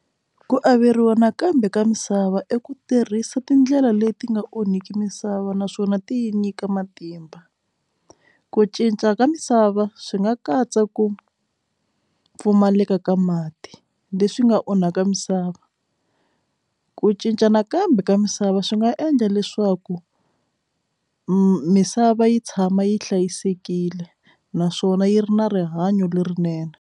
Ku averiwa nakambe ka misava i ku tirhisa tindlela leti nga onhiki misava naswona ti nyika matimba ku cinca ka misava swi nga katsa ku pfumaleka ka mati leswi nga onhaka misava ku cinca nakambe ka misava swi nga endla leswaku misava yi tshama yi hlayisekile naswona yi ri na rihanyo lerinene.